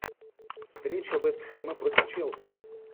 встреча вест хэма против челси